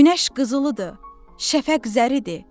Günəş qızılıdır, şəfək zəridir.